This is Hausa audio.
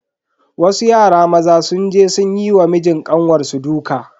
Wasu yara maza sun je sun yi wa mijin kanwar su duka.